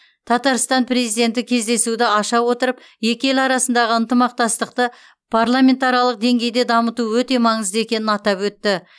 татарстан президенті кездесуді аша отырып екі ел арасындағы ынтымақтастықты парламентаралық деңгейде дамыту өте маңызды екенін атап өтті